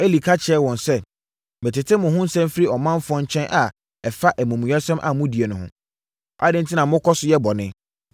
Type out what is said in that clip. Eli ka kyerɛɛ wɔn sɛ, “Metete mo ho nsɛm firi ɔmanfoɔ nkyɛn a ɛfa amumuyɛsɛm a modie no ho. Adɛn enti na mokɔ so yɛ bɔne?